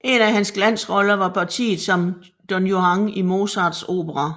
En af hans glansroller var partiet som Don Juan i Mozarts opera